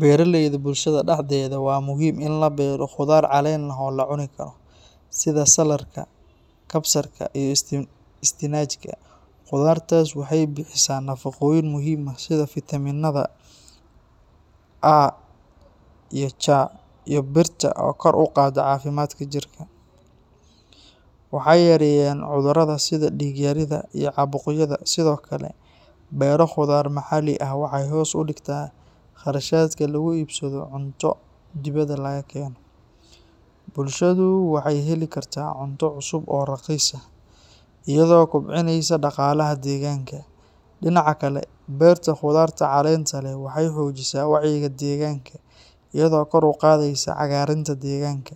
Beeraleyda bulshada dhexdeeda waa muhiim in la beero khudaar caleen leh oo la cuni karo, sida saaladhka, kabsarka iyo isbinaajka. Khudaartaas waxay bixisaa nafaqooyin muhiim ah sida fiitamiinnada A, C iyo birta oo kor u qaada caafimaadka jirka. Waxay yareeyaan cudurrada sida dhiig-yarida iyo caabuqyada. Sidoo kale, beero khudaar maxalli ah waxay hoos u dhigtaa kharashaadka lagu iibsado cunto dibadda laga keeno. Bulshadu waxay heli kartaa cunto cusub oo raqiis ah, iyadoo kobcinaysa dhaqaalaha deegaanka. Dhinaca kale, beerta khudaarta caleenta leh waxay xoojisaa wacyiga deegaanka, iyadoo kor u qaadaysa cagaarinta deegaanka.